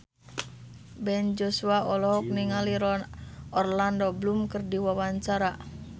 Ben Joshua olohok ningali Orlando Bloom keur diwawancara